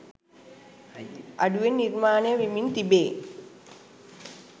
අඩුවෙන් නිර්මාණය වෙමින් තිබේ.